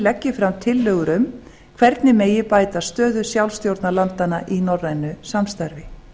leggi fram tillögur um hvernig megi bæta stöðu sjálfstjórnarlandanna í norrænu samstarfi